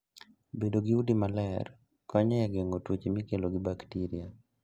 Bedo gi udi maler konyo e geng'o tuoche mikelo gi bakteria.